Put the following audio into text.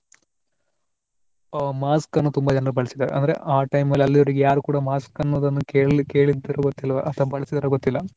ಆ mask ಅನ್ನು ತುಂಬಾ ಜನ ಬಳಸಿದ್ದಾರೆ ಅಂದ್ರೆ ಆ time ಅಲ್ಲಿ ಅಲ್ಲಿಯವರೆಗೆ mask ಯಾರೂ ಕೂಡಾ ಅನ್ನುದನ್ನ ಕೇಳ್~ ಕೇಳಿದ್ದರು ಗೊತ್ತಿಲ್ಲ ಅಥವಾ ಬಳಸಿದ್ದಾರೋ ಗೊತ್ತಿಲ್ಲ.